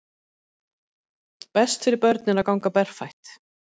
Best fyrir börnin að ganga berfætt